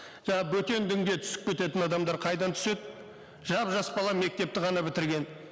жаңа бөтен дінге түсіп кететін адамдар қайдан түседі жап жас бала мектепті ғана бітірген